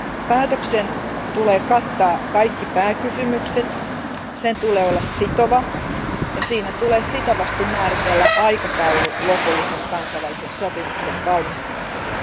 Päätöksen on katettava kaikki pääkysymykset, sen on oltava sitova, ja siinä on sitovasti määritettävä aikataulu lopullisen kansainvälisen sopimuksen valmistumiselle.